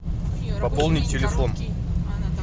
пополнить телефон